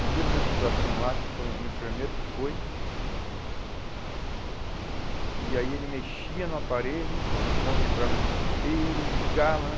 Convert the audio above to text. Um dia eu vi uma situação lá, que foi um enfermeiro que foi, e aí ele mexia no aparelho, o homem entrava em desespero, ligava né?